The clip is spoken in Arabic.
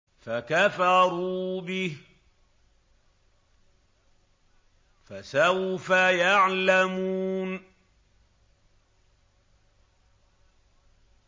فَكَفَرُوا بِهِ ۖ فَسَوْفَ يَعْلَمُونَ